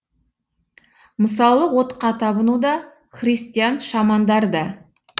мысалы отқа табыну да христиан шамандар да